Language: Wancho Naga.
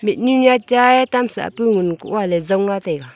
mhnun chaye tam sahpu ngun koh a ley jongla taiga.